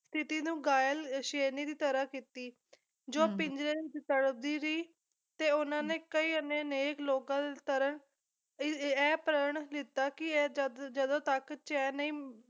ਸਥਿਤੀ ਨੂੰ ਘਾਇਲ ਸ਼ੇਰਨੀ ਦੀ ਤਰਾਂ ਕੀਤੀ ਜੋ ਪਿੰਜਰੇ ਦੀ ਵਿੱਚ ਤੜਫਦੀ ਰਹੀ ਤੇ ਉਹਨਾਂ ਨੇ ਕਈ ਅੰਨੇ ਅਨੇਕ ਲੋਕਾਂ ਦੇ ਤਰਾਂ ਇਹ ਇਹ ਪ੍ਰਣ ਲੀਤਾ ਕੀ ਇਹ ਜਦ ਜਦੋਂ ਤੱਕ ਚੈਨ ਨਹੀਂ